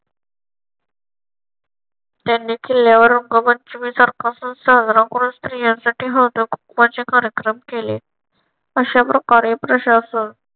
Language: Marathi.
त्यांनी किल्ल्यावर रंगपंचमी सारखा सण साजरा करून स्त्रियांसाठी हळद कुंकूवाचे कार्यक्रम केले. अशा प्रकारे प्रशासक